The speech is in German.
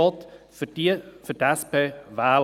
Er hat gesagt, er wolle SP wählen.